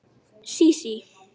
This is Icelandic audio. Sísí